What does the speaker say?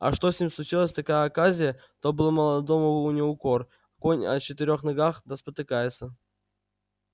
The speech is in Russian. а что с ним случилась такая оказия то был молодому не укор конь и о четырнх ногах да спотыкается